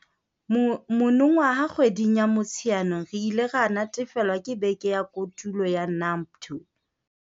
Monongwaha kgweding ya Motsheanong re ile ra natefelwa ke beke ya Kotulo ya NAMPTO.